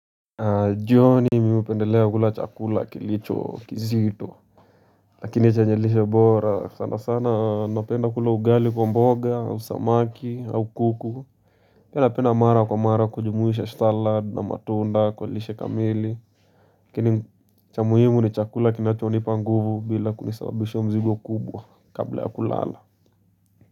Jioni mimi hupendelea kula chakula kilicho kizito Lakini chenye lishe bora sana sana napenda kula ugali kwa mboga au samaki au kuku Pia napenda mara kwa mara kujumuisha ''salad'' na matunda kwa lishe kamili Lakini cha muhimu ni chakula kinachonipa nguvu bila kunisabisha mzigo kubwa kabla ya kulala.